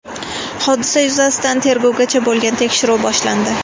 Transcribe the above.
Hodisa yuzasidan tergovgacha bo‘lgan tekshiruv boshlandi.